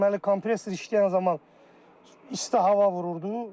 Deməli, kompresor işləyən zaman isti hava vururdu.